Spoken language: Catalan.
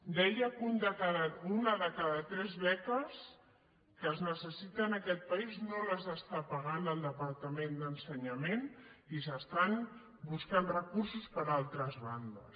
deia que una de cada tres beques que es necessita en aquest país no les està pagant el departament d’en·senyament i s’estan buscant recursos per altres ban·des